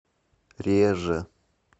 реже